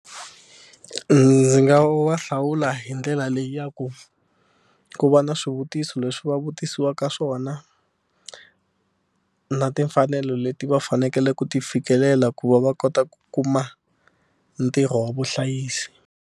Ndzi nga va hlawula hi ndlela leyi ya ku ku va na swivutiso leswi va vutisiwaka swona na timfanelo leti va fanekele ku ti fikelela ku va va kota ku kuma ntirho wa vuhlayisi.